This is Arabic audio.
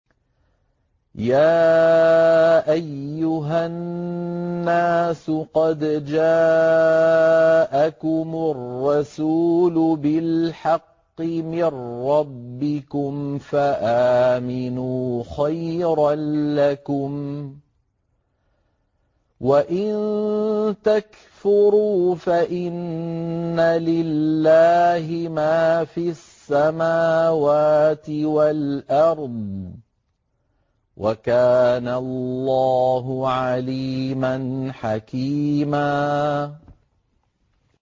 يَا أَيُّهَا النَّاسُ قَدْ جَاءَكُمُ الرَّسُولُ بِالْحَقِّ مِن رَّبِّكُمْ فَآمِنُوا خَيْرًا لَّكُمْ ۚ وَإِن تَكْفُرُوا فَإِنَّ لِلَّهِ مَا فِي السَّمَاوَاتِ وَالْأَرْضِ ۚ وَكَانَ اللَّهُ عَلِيمًا حَكِيمًا